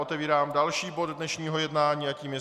Otevírám další bod dnešního jednání a tím je